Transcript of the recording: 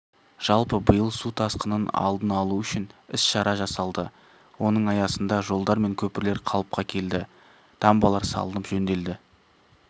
жалпы биыл су тасқынын алдын алу үшін іс-шара жасалды оның аясында жолдар мен көпірлер қалыпқа келді дамбалар салынып жөнделді